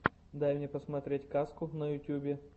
дай мне посмотреть казку на ютьюбе